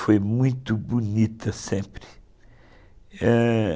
Foi muito bonita sempre. Eh...